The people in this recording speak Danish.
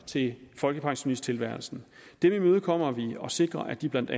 til folkepensionisttilværelsen dem imødekommer vi og sikrer at de blandt